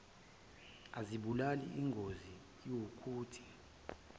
azibulali ingozi iwukuthi